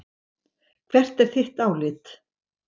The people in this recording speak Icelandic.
Hvert er þitt álit?